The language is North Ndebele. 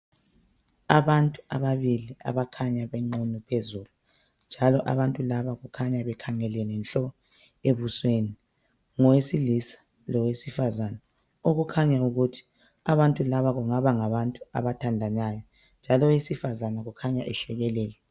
Abantu ababili abakhanya benqunu phezulu njalo abantu laba kukhanya bekhangelene nhlo ebusweni ngowesilisa lowesifazana okukhanya ukuthi abantu alaba kungaba ngabantu abathandanayo njalo owesifazana kukhanya ehlekelela.